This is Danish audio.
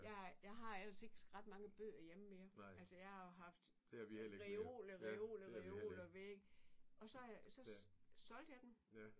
Jeg har jeg har ellers ikke mange bøger hjemme længere. Altså jeg har jo haft reoler reoler reoler væk og så har jeg så så solgte jeg dem